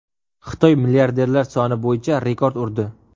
Xitoy milliarderlar soni bo‘yicha rekord urdi.